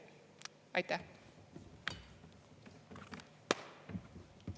Aitäh!